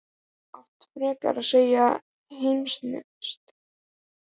Þú átt frekar að segja himneskt